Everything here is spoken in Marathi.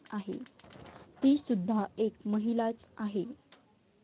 तीसुद्धा एक महिलाच आहे.